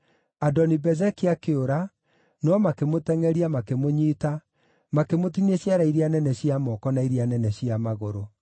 Adoni-Bezeki akĩũra, no makĩmũtengʼeria, makĩmũnyiita, makĩmũtinia ciara iria nene cia moko na iria nene cia magũrũ.